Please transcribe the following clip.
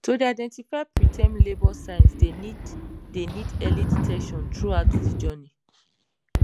to dey identify preterm labour signs dey need dey need early detection throughout de journey